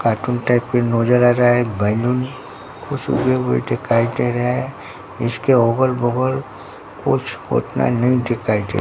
काटून type के नोजर आ रहा है बैलून कुछ उगे हुए दिखाई दे रहे है इसके ओगल - बगल कुछ ओतना नहीं दिखाई दे --